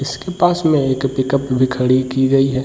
इसके पास में एक पिक अप भी खड़ी की गई है।